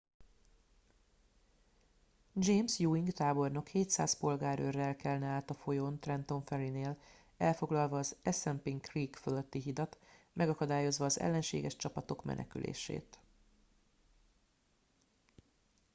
james ewing tábornok 700 polgárőrrel kelne át a folyón trenton ferry nél elfoglalva az assunpink creek fölötti hidat megakadályozva az ellenséges csapatok menekülését